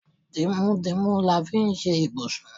Tìmùtìmù la fi ṣe ibùsùn.